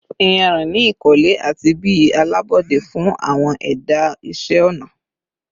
iyanrin ni ikole ati bi alabọde fun awọn ẹda iṣẹ ọna